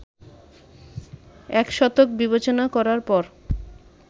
এক শতক বিবেচনা করার পর